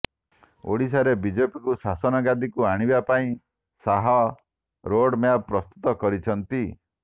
ଓଡ଼ିଶାରେ ବିଜେପିକୁ ଶାସନଗାଦିକୁ ଆଣିବା ପାଇଁ ଶାହ ରୋଡମ୍ୟାପ୍ ପ୍ରସ୍ତୁତ କରିଛନ୍ତି